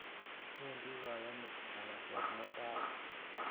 Pendi kayonik nganaset mutai